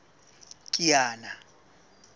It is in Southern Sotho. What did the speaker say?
kiana